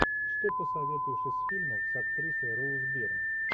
что посоветуешь из фильмов с актрисой роуз бирн